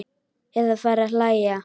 Eða fara að hlæja.